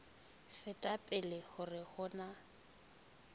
feta pele hore ho na